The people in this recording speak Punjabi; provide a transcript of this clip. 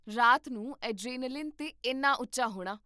ਰਾਤ ਨੂੰ ਐਡਰੇਨਾਲੀਨ 'ਤੇ ਇੰਨਾ ਉੱਚਾ ਹੋਣਾ